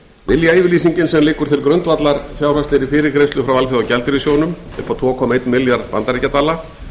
viljayfirlýsingin sem liggur til grundvallar fjárhagslegri fyrirgreiðslu frá alþjóðagjaldeyrissjóðnum upp á tvö komma einn milljarð bandaríkjadala